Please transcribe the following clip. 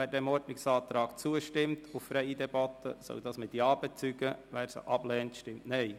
Wer diesem Ordnungsantrag auf freie Debatte zustimmt, soll es mit Ja bezeugen, wer dies ablehnt, stimmt Nein.